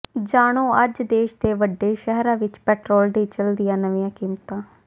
ਜਾਣੋ ਅੱਜ ਦੇਸ਼ ਦੇ ਵੱਡੇ ਸ਼ਹਿਰਾਂ ਵਿਚ ਪੈਟਰੋਲ ਡੀਜ਼ਲ ਦੀਆਂ ਨਵੀਆਂ ਕੀਮਤਾਂ